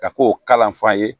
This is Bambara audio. Ka k'o kalan f'an ye